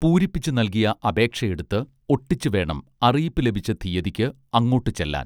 പൂരിപ്പിച്ചു നല്കിയ അപേക്ഷ എടുത്ത് ഒട്ടിച്ചു വേണം അറിയിപ്പു ലഭിച്ച തീയ്യതിക്ക് അങ്ങോട്ട് ചെല്ലാൻ